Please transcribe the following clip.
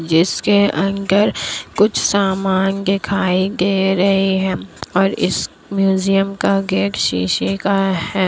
जिसके अंदर कुछ समान दिखाई दे रहे है और इस म्यूजियम का गेट सीसे का है।